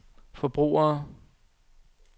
forbrugere